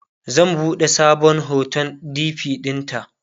zan buɗe sabon hoton dp ɗinta